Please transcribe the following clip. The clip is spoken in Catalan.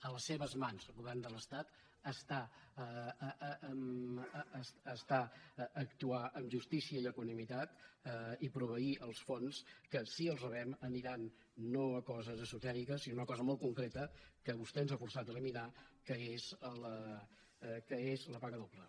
a les seves mans govern de l’estat està actuar amb justícia i equanimitat i proveir els fons que si els rebem aniran no a coses esotèriques sinó a una cosa molt concreta que vostè ens ha forçat a eliminar que és la paga doble